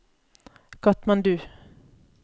Katmandu